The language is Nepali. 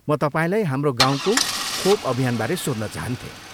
म तपाईँलाई हाम्रो गाउँको खोप अभियानबारे सोध्न चाहन्थेँ।